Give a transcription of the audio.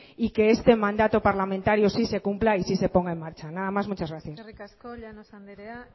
y que este mandato parlamentario sí se cumpla y sí se ponga en marcha nada más muchas gracias eskerrik asko llanos andrea